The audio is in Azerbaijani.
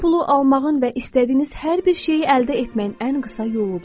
Bu pulu almağın və istədiyiniz hər bir şeyi əldə etməyin ən qısa yoludur.